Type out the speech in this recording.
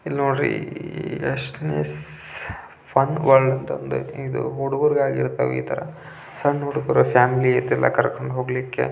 ಇದು ನೋಡ್ರಿ restless fun world ಅಂತ ಯೇತಿ ಇದು ಹುಡುಗೂರು ಗಾಗಿ ಇರ್ತಾವೆ ಈತರ ಸಣ್ನ ಹುಡುಗರು ಫ್ಯಾಮಿಲಿ ಐತಲ್ಲಾ ಕರ್ಕೊಂಡು ಹೋಗ್ಲಿಕೆ --